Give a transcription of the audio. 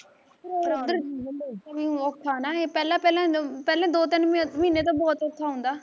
ਉੱਧਰ ਹੁਣਏ ਔਖਾ ਨਾ ਏਹ ਪਹਿਲਾਂ ਪਹਿਲਾਂ ਪਹਿਲੇ ਦੋ ਤਿੰਨ ਮਹੀਨੇ ਤਾਂ ਬਹੁਤ ਔਖਾ ਹੁੰਦਾ,